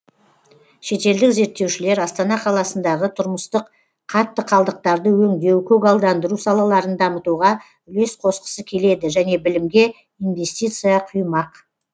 шетелдік зерттеушілер астана қаласындағы тұрмыстық қатты қалдықтарды өңдеу көгалдандыру салаларын дамытуға үлес қосқысы келеді және білімге инвестиция құймақ